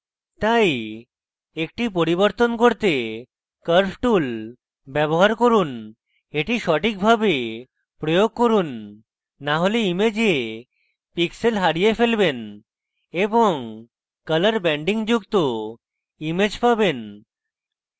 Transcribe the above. তাই শুধু একটি পরিবর্তন করতে curves tool ব্যবহার করুন এটি সঠিকভাবে প্রয়োগ করুন so হলে image pixels হারিয়ে ফেলবেন এবং care ব্যান্ডিং যুক্ত image পাবেন